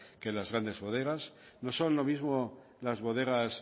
que las grandes bodegas no son lo mismo las bodegas